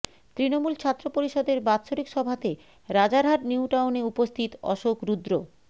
তৃনমুল ছাত্র পরিষদের বাৎসরিক সভাতে রাজারহাট নিউটাউনে উপস্থিত অশোক রুদ্র